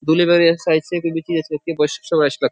दूर साइज से कोई भी चीज अच्छी लगती है --